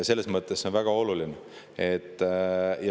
See on väga oluline.